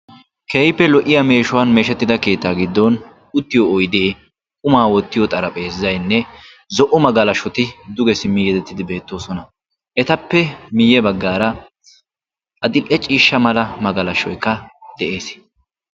Keehippe lo"iyaa meeshshuwan meeshshettida keettaa giddon uttiyo oyddee, quma wottiyo xaraphezzaynne zo'o magalashoti duge yedettidi beettoosona; etappe miye baggaara adl"e ciishsha magalashshoykka de'ees.